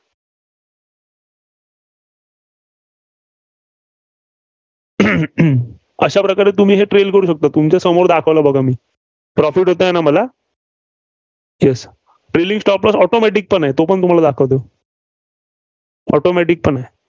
अह अह अशा प्रकारे तुम्ही trail करू शकता. तुमच्यासमोर दाखवलं बघा मी. profit होतयं ना, मला? Yes, trailing stop loss automatic पण आहे, तोपण तुम्हाला दाखवतो. automatic पण आहे.